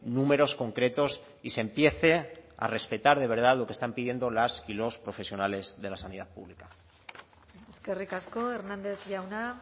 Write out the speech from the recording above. números concretos y se empiece a respetar de verdad lo que están pidiendo las y los profesionales de la sanidad pública eskerrik asko hernández jauna